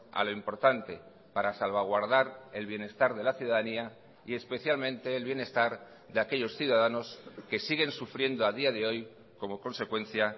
a lo importante para salvaguardar el bienestar de la ciudadanía y especialmente el bienestar de aquellos ciudadanos que siguen sufriendo a día de hoy como consecuencia